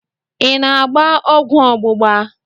I na-agba ọgwụ ọgbụgba?